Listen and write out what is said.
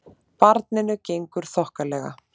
Barninu gengur þokkalega